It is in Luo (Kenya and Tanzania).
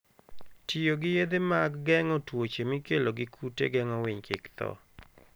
Tiyo gi yedhe mag geng'o tuoche mikelo gi kute geng'o winy kik tho.